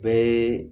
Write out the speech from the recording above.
Bɛɛ